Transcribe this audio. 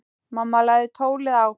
Mamma lagði tólið á.